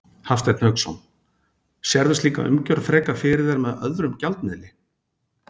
Hafsteinn Hauksson: Sérðu slíka umgjörð frekar fyrir þér með öðrum gjaldmiðli?